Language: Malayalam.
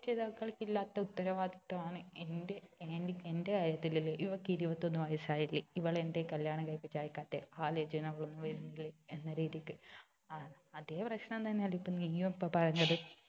എന്റെ രക്ഷിതാക്കൾക്കില്ലാത്ത ഉത്തരവാദിത്തമാണ് എന്റെ aunty എന്റെ കാര്യത്തിൽ ഇല്ലത് ഇവൾക്ക് ഇരുപത്തി ഒന്ന് വയസ് ആയില്ലേ ഇവളെ എന്തെ കല്യാണം കഴിപ്പിച്ച് അയക്കാത്തെ ആലോചനകൾ ഒന്നും വരുന്നില്ലേ എന്ന രീതിക്ക് അഹ് അതേ പ്രശ്നം തന്നെയല്ലേ ഇപ്പൊ നീയു ഇപ്പൊ പറഞ്ഞത്